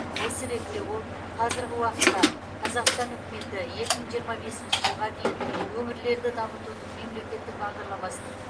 осы ретте ол қазіргі уақытта қазақстан үкіметі екі мың жиырма бесінші жылға дейін өңірлерді дамытудың мемлекеттік бағдарламасын